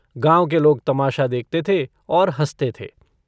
गाँव के लोग तमाशा देखते थे और हँसते थे।